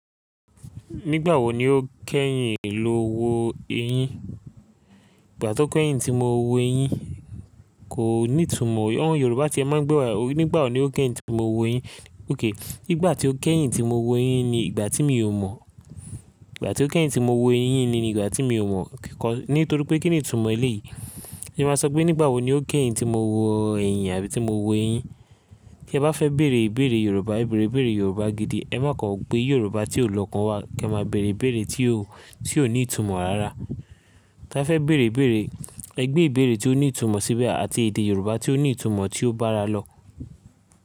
Nígbà wo ni o kẹ́yìn lò wo eyín? Ìgbà tó kẹ́yìn tí mo wú eyín kò ní ìtumọ̀. Àwon Yorùbá tí ẹ máa ń gbé wá, nígbà wo ni o kẹ́yìn tí mo wú eyín? Nigbà tí o kẹ́yìn tí mo wú eyín ni ìgbà tí mi ò mọ̀. Ìgbà tí o kẹ́yìn tí mo wo eyín ni ìgbà tí mi ò mọ̀. Nítorí pé kín ni ìtumọ̀ eléyìí? Kí ẹ máa sọ pé nígbà wo ni o kẹ́yìn tí mo wo èyìn àbí tí mo wú eyín. Kí ẹ bá fẹ́ bèèrè ìbèèrè Yorùbá, ẹ bèèrè ìbèèrè Yorùbá gidi. Ẹ má kọ gbé Yorùbá tí ò lọ́kàn wá kẹ máa bèèrè ìbèèrè tí ó, tí ò ní ìtumọ̀ rárá. Tè bá fẹ́ bèèrè ìbèèrè, ẹ gbé ìbèèrè tí ó ní ìtumọ̀ síbẹ̀ àti èdè Yorùbá tí ó ní ìtumọ̀ tí ó bá ara lọ.